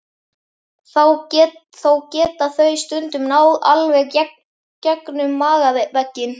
Þó geta þau stundum náð alveg gegnum magavegginn.